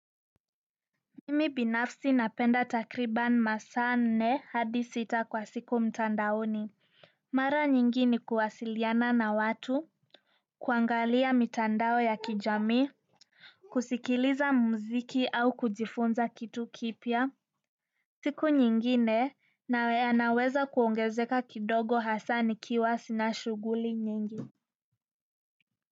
Mimi binafsi napenda takriban masaa nne hadi sita kwa siku mtandaoni. Mara nyingi ni kuwasiliana na watu kuangalia mitandao ya kijamii kusikiliza muziki au kujifunza kitu kipya siku nyingine yanaweza kuongezeka kidogo hasa nikiwa sina shughuli nyingi.